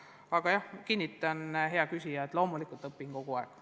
Aga jah, kinnitan, hea küsija, et loomulikult minagi õpin kogu aeg.